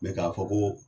Mɛ k'a fɔ ko